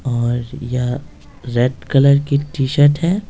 और यह red colour की टी-शर्ट है।